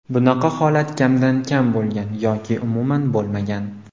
Bunaqa holat kamdan-kam bo‘lgan yoki umuman bo‘lmagan.